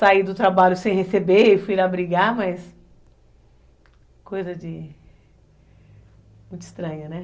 Saí do trabalho sem receber e fui lá brigar, mas... Coisa de... Muito estranha, né?